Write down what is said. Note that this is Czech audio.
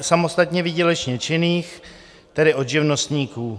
samostatně výdělečně činných, tedy od živnostníků.